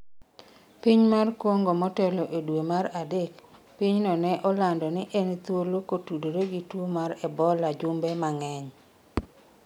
piny mar Kongo motelo e dwe mar adek, pinyno ne olando ni en thuolo kotudore gi tuo mar ebola jumbe mang'eny